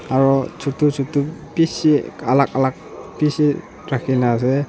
aro chotu chotu bishi alak alak bishi rakhina ase.